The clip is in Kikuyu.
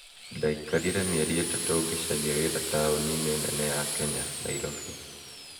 Ndaikarire mĩeri ĩtatũ ngĩcaria wĩra taũni-inĩ nene ya Kenya, Nairobi.